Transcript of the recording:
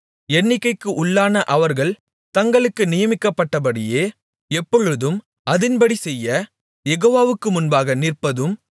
எண்ணிக்கைக்கு உள்ளான அவர்கள் தங்களுக்கு நியமிக்கப்பட்டபடியே எப்பொழுதும் அதின்படி செய்ய யெகோவாவுக்கு முன்பாக நிற்பதும்